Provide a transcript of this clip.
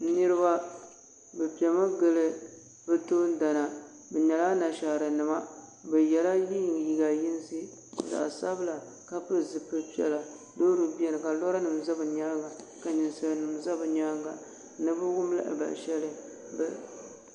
Niriba bi pɛmi gili bi toondana bi nyɛla ana ahaara nima bi yela liiga yinsi zaɣi sabila ka pili zipili piɛlla Loori bɛni ka lɔra nima za yɛanga ka ninsali zi bi yɛanga ni bi wum lahabali ahɛli.